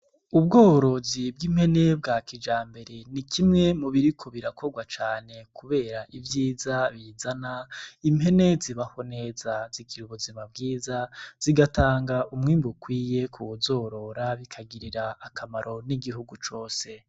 Ubworozi bw'impene bwa kijambere ni kimwe mu biriko birakogwa cane kubera ivyiza bizana, impene zibaho neza, zigira ubuzima bwiza, zigatanga umwimbu ukwiye kuwuzorora bikagirira akamaro n'igihugu cose.